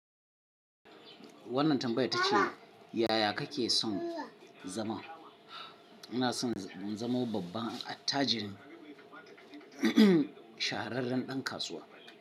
Wannan tambaya tace, yaya kake son zama? Ina son in zamo babban attajirin, shahararren ɗan kasuwa.